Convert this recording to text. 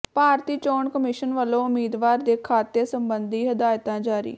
ਭਾਰਤੀ ਚੋਣ ਕਮਿਸ਼ਨ ਵੱਲੋਂ ਉਮੀਦਵਾਰ ਦੇ ਖਾਤੇ ਸਬੰਧੀ ਹਦਾਇਤਾਂ ਜਾਰੀ